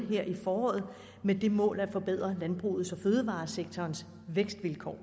her i foråret med det mål at forbedre landbrugets og fødevaresektorens vækstvilkår